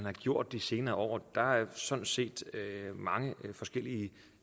er gjort de senere år og der er sådan set mange forskellige